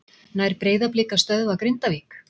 Nær Breiðablik að stöðva Grindavík?